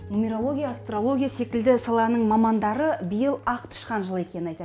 нумерология астрологияя секілді саланың мамандары биыл ақ тышқан жылы екенін айтады